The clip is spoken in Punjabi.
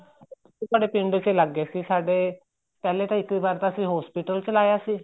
ਸਾਡੇ ਪਿੰਡ ਚ ਹੀ ਲੱਗ ਗਏ ਸੀ ਸਾਡੇ ਪਹਿਲੇ ਤਾਂ ਇੱਕ ਵਾਰ ਤਾਂ ਅਸੀਂ hospital ਵਿੱਚ ਲਾਇਆ ਸੀ